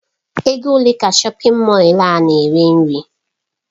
Ego ole ka shọpin Mọll a na-eri nri?